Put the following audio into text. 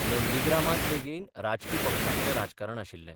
नंदिग्रामांत लेगीत राजकी पक्षांचें राजकारण आशिल्लें.